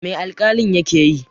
Mai alƙalin ya ke yi?